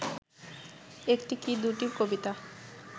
একটি কি দুটি কবিতা